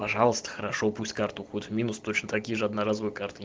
пожалуйста хорошо пусть карта уходит в минус точно такие же одноразовые карты